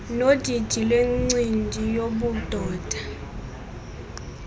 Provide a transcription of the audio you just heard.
nodidi lwencindi yobudoda